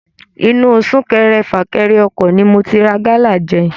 Inu súnkẹrẹ-fàkẹrẹ ọkọ̀ ni mo ti rà gala jẹ.